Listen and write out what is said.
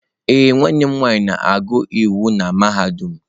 Ee, nwanne m nwanyị na-agụ iwu n'mahadum.